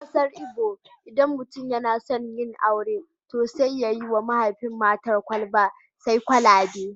A kasar Igbo, idan mutum yana son yin aure, to sai ya yi wa mahaifin matar kwalba sai kwalabe